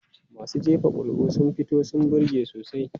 Masu jefa kuri'a sun fito sun burge sosai.